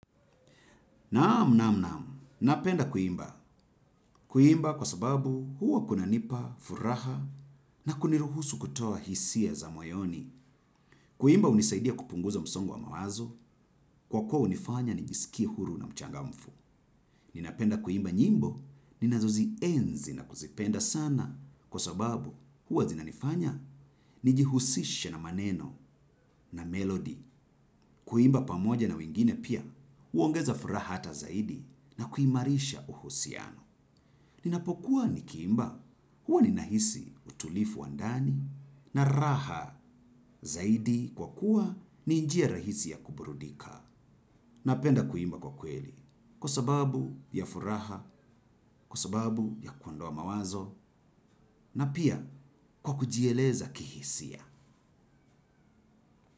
Naamu naamu naamu. Napenda kuimba. Kuimba kwa sababu huwa kunanipa furaha na kuniruhusu kutoa hisia za moyoni. Kuimba unisaidia kupunguza msongo wa mawazo. Kwa kuwa hunifanya nijisikie huru na mchangamfu. Ninapenda kuimba nyimbo. Ninazo zienzi na kuzipenda sana. Kwa sababu huwa zinanifanya. Nijihusishe na maneno na melodi. Kuimba pamoja na wengine pia huongeza furaha hata zaidi na kuimarisha uhusiano. Ninapokuwa nikiimba, huwa ninahisi utulivu wa ndani na raha. Zaidi kwa kuwa ni njia rahisi ya kuburudika. Napenda kuimba kwa kweli kwa sababu ya furaha, kwa sababu ya kuondoa mawazo, na pia kwa kujieleza kihisia.